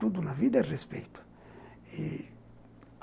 Tudo na vida é respeito e